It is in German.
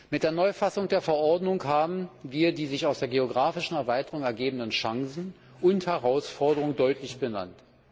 Mit der Neufassung der Verordnung haben wir die sich aus der geografischen Erweiterung ergebenden Chancen und Herausforderungen deutlich benannt.